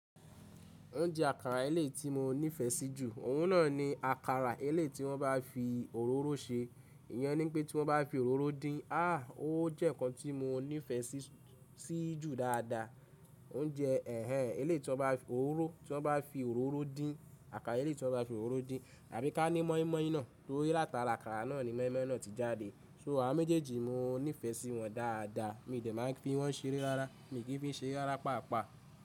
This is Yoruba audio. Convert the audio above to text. Oúnjẹ àkàrà elé ti mo nífẹ̀ẹ́ sí jù, oun ná ni àkàrà eléyi tí wọ́n bá fi òróró ṣe. Ìyẹn ni pé tí wọ́n bá fi òróró dín, ah! O jẹ́ nǹkan tí mo nífẹ̀ẹ́ sí jù dáadáa. Oúnjẹ ẹhẹń elé tí wọ́n bá fi òróró dín, àkàrà elé tí wọ́n bá fi òróró dín tàbí ká ní mọ́ínmọ́ín náà tóri là tà'àrà àkàrà náà ni mọ́ínmọ́ín náà ti jáde. So àwon méjèèjì mo nífẹ̀ẹ́ sí wọn dáadáa, mi ò dẹ̀ máa ń fi wọ́n ṣeré rárá, mi kì í fi ṣeré rárá paapaa.